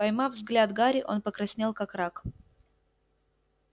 поймав взгляд гарри он покраснел как рак